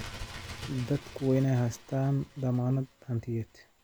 Dadku waa inay haystaan ??dammaanad hantiyeed.